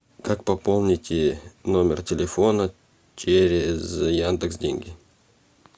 как пополнить номер телефона через яндекс деньги